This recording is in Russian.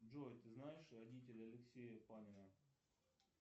джой ты знаешь родителей алексея панина